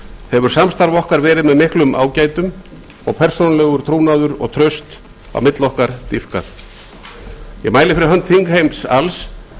hefur samstarf okkar verið með miklum ágætum og persónulegur trúnaður og traust á milli okkar dýpkað ég mæli fyrir hönd þingheims alls þegar